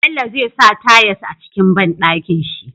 Bello zai sa tayas a cikin banɗakin shi